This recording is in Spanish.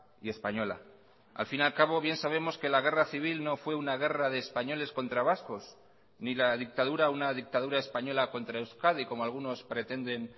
y española al fin al cabo bien sabemos que la guerra civil no fue una guerra de españoles contra vascos ni la dictadura una dictadura española contra euskadi como algunos pretenden